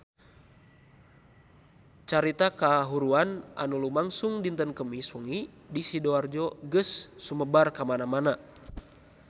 Carita kahuruan anu lumangsung dinten Kemis wengi di Sidoarjo geus sumebar kamana-mana